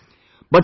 Yes ...